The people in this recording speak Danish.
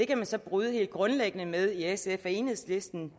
kan man så bryde helt grundlæggende med i sf og enhedslisten